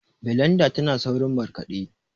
blendar tana saurin markaɗe